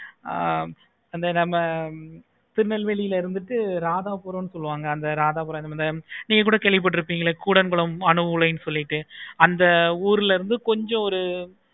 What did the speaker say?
ஆஹ் அந்த திருநெல்வேலில இருந்துட்டு ராதாபுரம் சொல்லுவாங்க அந்த ராதாபுரம் நீங்க கூட கேள்வி பட்டு இருப்பிங்களா கூடங்குளம் அனுகூலம் சொல்லிட்டு அந்த ஊருல இருந்து கொஞ்சம்